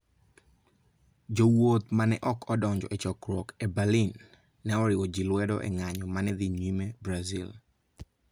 Jowuoth ma ne ok odonjo e chokruok e Berlin ne oriwo ji lwedo e ng'anyo ma ne dhi nyime Brazil.